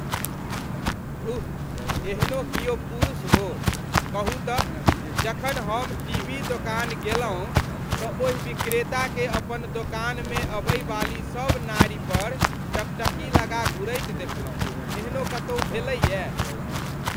धुः एहनो किओ पुरुष हो, कहू तऽ जखन हम टीवी दोकान गेलहुँ तँ ओहि विक्रेताकेँ अपन दोकानमे अबैवाली सब नारिपर टकटकी लगा घूरैत देखलहुँ, एहनो कतौ भेलैये।